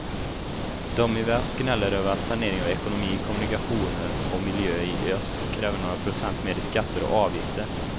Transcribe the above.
De i väst gnäller över att sanering av ekonomi, kommunikationer och miljö i öst kräver några procent mer i skatter och avgifter.